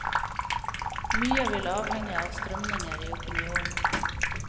Mye vil avhenge av strømninger i opinionen.